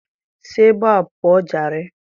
Si ebe a pụọ jare.